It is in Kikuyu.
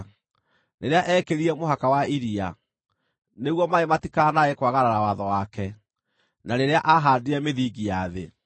rĩrĩa eekĩrire mũhaka wa iria nĩguo maaĩ matikanae kwagarara watho wake, na rĩrĩa aahandire mĩthingi ya thĩ.